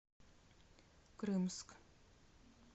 крымск